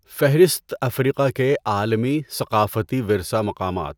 فہرست افریقہ کے عالمی ثقافتی ورثہ مقامات